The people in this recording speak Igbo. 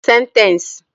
Sentence